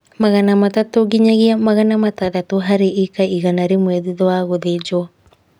magana matatũ nginyagia magana matandatũ harĩ ĩka igana rĩmwe thutha wa gũthĩnjwo